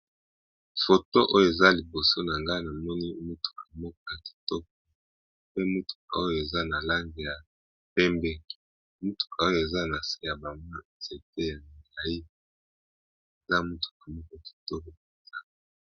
Photo oyo eza liboso nanga eza namoni mutuka moko ya kitoko penza pe eza nalangi yapembe